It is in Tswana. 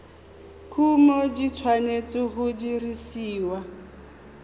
kumo di tshwanetse go dirisiwa